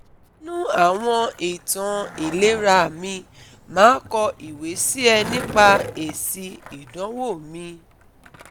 ninu awon itan ilera mi ma ko iwe si e nipa esi idonwo mi